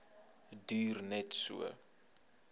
duur net so